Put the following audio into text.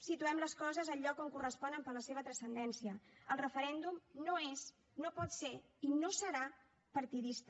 situem les coses al lloc on corresponen per la seva transcendència el referèndum no és no pot ser i no serà partidista